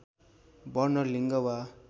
वर्ण लिङ्ग वा